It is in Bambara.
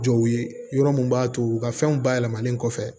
Jɔw ye yɔrɔ mun b'a to u ka fɛnw bayɛlɛmalen kɔfɛ